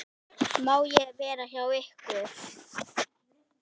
Má ég vera hjá ykkur?